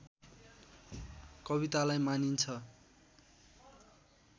कवितालाई मानिन्छ